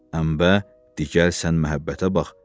Əmbə, de, gəl sən məhəbbətə bax."